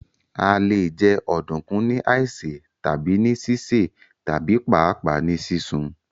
À lè jẹ Ọ̀dunkun ní àísè, tabi ni sísẹ̀ tabi paapaa nì sisun.